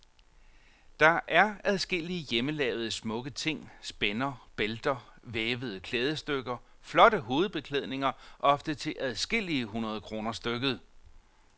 Der er adskillige hjemmelavede, smukke ting, spænder, bælter, vævede klædestykker, flotte hovedbeklædninger, ofte til adskillige hundrede kroner stykket.